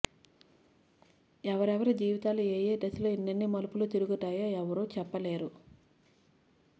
ఎవరెవరి జీవితాలు ఏయే దశలో ఎనె్నన్ని మలుపులు తిరుగుతాయో ఎవరూ చెప్పలేరు